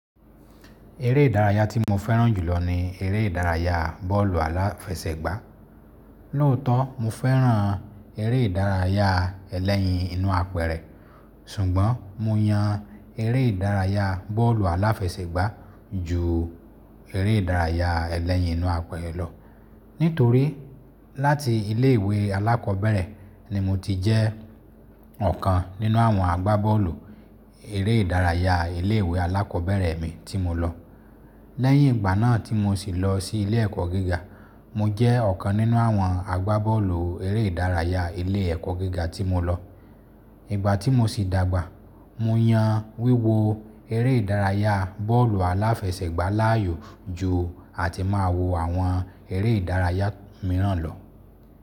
Eré ìdárayá tí mo fẹ́ràn jùlọ ni eré ìdárayá bọ́ọ̀lù aláfẹsẹ̀gbá. Lóòótọ́ mo fẹ́ràn eré ìdárayá ẹlẹ́yin inú apẹ̀rẹ̀, ṣùgbọ́n mo yan eré ìdárayá bọ́ọ̀lù aláfẹsẹ̀gbá ju eré ìdárayá ẹlẹ́yin inú apẹ̀rẹ̀ lọ, nítorí láti ilé ìwé alákọ̀ọ́bẹ̀rẹ̀ ni mo ti jẹ́ ọ̀kan nínú àwọn agbá bọ́ọ̀lù eré ìdárayá ilé ìwé alákọ̀ọ́bẹ̀rẹ̀ mi tí mo lọ. Lẹ́yìn ìgbà náà tí mo sì lọ sí ilé ẹ̀kọ́ gíga, mo jẹ́ ọ̀kan nínú àwọn agbá bọ́ọ̀lù eré ìdárayá ilé ẹ̀kọ́ gíga tí mo lọ. Ìgbà tí mo sì dàgbà, mo yan wíwo eré ìdárayá bọ́ọ̀lù aláfẹsẹ̀gbá láàyò ju àti máa wo àwọn eré ìdárayá mìíràn lọ.